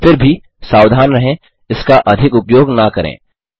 फिर भी सावधान रहें इसका अधिक उपयोग न करें